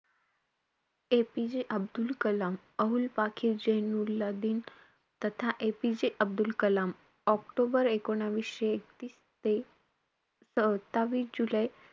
APJ Abdul Kalam, Abul Pakir Jainulabdeen तथा APJ Abdul Kalam. October एकोणावीसशे एकतीस ते सत्तावीस जुलै,